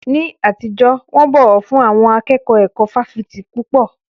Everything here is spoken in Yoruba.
Ní àtijọ́, wọ́n bọ̀wọ̀ fún àwọn akẹ́kọ̀ọ́ ẹ̀kọ́ fáfitì púpọ̀.